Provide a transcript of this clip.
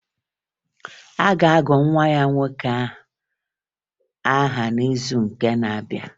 A ga-agụ nwa ya nwoke aha n'izuụka na-abịa